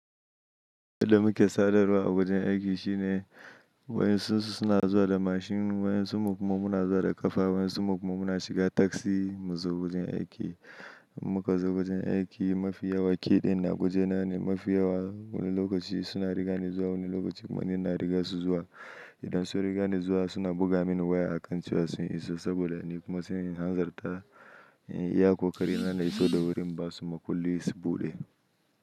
Yadda muke sadarwa a wajen aiki shine wayan sun su sona zuwa da mashin, wayan summu kuma muna zuwa da ƙafa, wayan summu kuma muna shiga taksi mu zo wajen aiki. Muka zo wajen aiki mafi yawa kiɗin na wajena ne mafi yawa. Wani lokaci suna riga ni zuwa, wani lokaci kuma ni ina riga su zuwa. Idan sun riga ni zuwa suna buga mini waya a kan cewa sun iso saboda ni kuma in hazartar iya ko ƙari na na iso da wuri inba su ma kullum su buɗe.